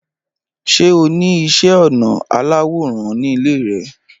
Ṣé o ní iṣẹ́-ọnà aláwò rán nílé rẹ?